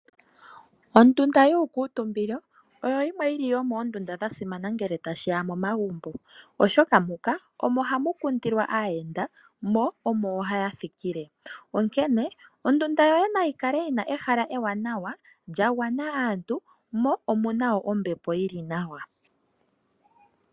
Ondunda yuukitumbilo oyili yasimana ngele tashiya megumbo oshoka omo hamu kundilwa aayenda yo omo hayathikile, onkene ondunda yoye nayi kale yina ehala lili nawa la gwana aantu mo omwa pumbwa mu kale muna ombepo ya gwana nawa.